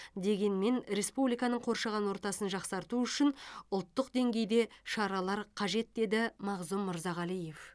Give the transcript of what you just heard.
дегенмен республиканың қоршаған ортасын жақсарту үшін ұлттық деңгейде шаралар қажет деді мағзұм мырзағалиев